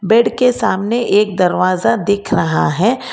Bed के सामने एक दरवाजा दिख रहा है।